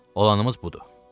Olanımız budur.